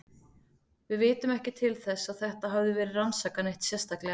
Við vitum ekki til þess að þetta hafi verið rannsakað neitt sérstaklega.